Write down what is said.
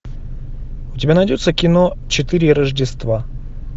у тебя найдется кино четыре рождества